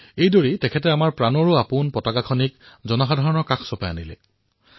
এইদৰেই তেওঁ আমাৰ প্ৰাণপ্ৰিয় ত্ৰিৰংগা জনসাধাৰণৰ সমীপলৈ লৈ আনিলে